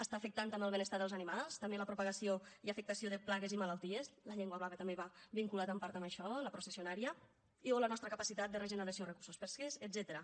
està afectant també el benestar dels animals també la propagació i afectació de plagues i malalties la llengua blava també va vinculada en part amb això a la processionària i o la nostra capacitat de regeneració de recursos pesquers etcètera